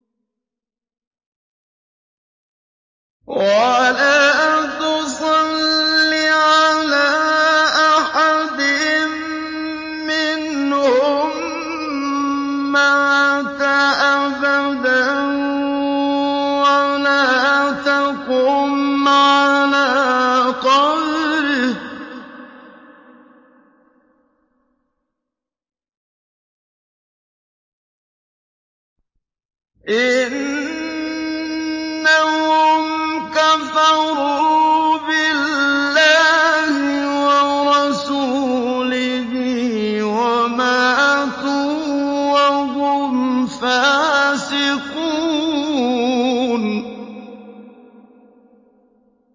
وَلَا تُصَلِّ عَلَىٰ أَحَدٍ مِّنْهُم مَّاتَ أَبَدًا وَلَا تَقُمْ عَلَىٰ قَبْرِهِ ۖ إِنَّهُمْ كَفَرُوا بِاللَّهِ وَرَسُولِهِ وَمَاتُوا وَهُمْ فَاسِقُونَ